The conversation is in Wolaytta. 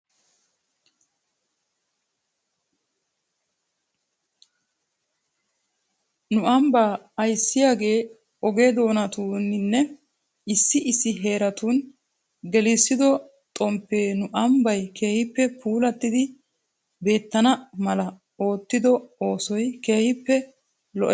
Nu ambbaa ayssiyaagee oge doonatuuninne issi issi heeratun gelissido xomppee nu ambbay keehippe puulattidi beettana mala oottido oosoy keehippe lo"es.